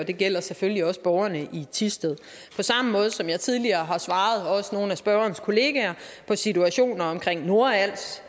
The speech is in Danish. og det gælder selvfølgelig også borgerne i thisted på samme måde som jeg tidligere har svaret også nogle af spørgerens kollegaer på situationer omkring nordals